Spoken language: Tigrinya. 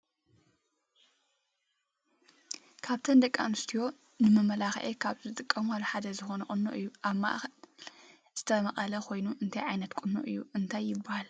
ካብ እቶም ደቂ ኣንስትዮ ንመመላክዒ ካብ ዝጥቀማሉ ሓደ ዝኮነ ቁኖ እዩ። ኣብ ማእከሉዝተመቀለ ኮይኑ እንታይ ዓይነት ቁኖ እዩ ?እንታይ ይበሃል?